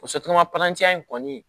in kɔni